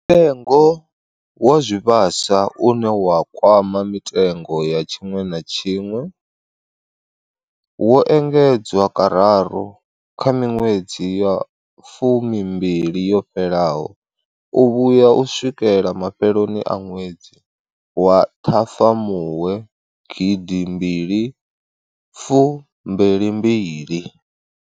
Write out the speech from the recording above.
Mutengo wa zwivhaswa, une wa kwama mitengo ya tshiṅwe na tshiṅwe, wo engedzwa kararu kha miṅwedzi ya fumimbili yo fhelaho u vhuya u swikela mafheloni a ṅwedzi wa Ṱhafamuhwe 2022.